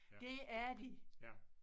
Det er de